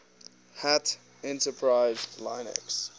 hat enterprise linux